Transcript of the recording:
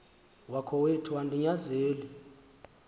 wakowethu andi nyanzeli